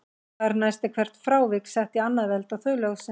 Þar næst er hvert frávik sett í annað veldi og þau lögð saman.